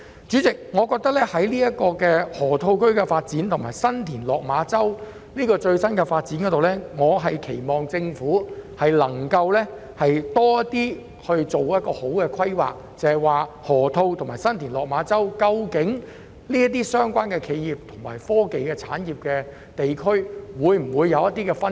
主席，就河套區的發展和新田/落馬洲的最新發展，我希望政府能夠做好規劃，釐清河套區和新田/落馬洲這兩個企業和科技產業地區的分工。